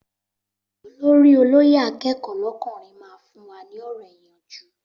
Olórí olóyè akẹ́kọ̀ọ́ lọ́kùnrin máa fún wa ní ọ̀rọ̀ ìyànjú